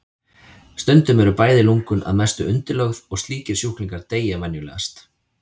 Stundum eru bæði lungun að mestu undirlögð og slíkir sjúklingar deyja venjulegast.